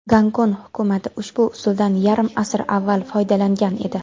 Gonkong hukumati ushbu usuldan yarim asr avval foydalangan edi.